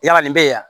Yala nin bɛ yan